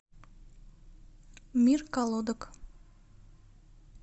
мир колодок